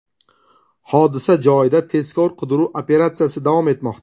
Hodisa joyida tezkor-qidiruv operatsiyasi davom etmoqda.